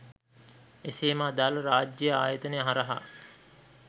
එසේම අදාල රාජ්‍යය ආයතන හරහා